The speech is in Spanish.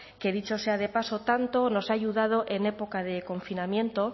que dicho sea de paso tanto nos ha ayudado en época de confinamiento